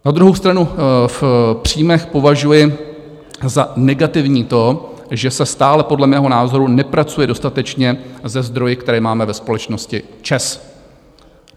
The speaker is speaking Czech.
Na druhou stranu v příjmech považuji za negativní to, že se stále podle mého názoru nepracuje dostatečně se zdroji, které máme ve společnosti ČEZ.